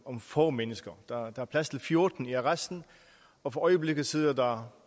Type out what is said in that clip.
om få mennesker der er plads til fjorten i arresten og for øjeblikket sidder der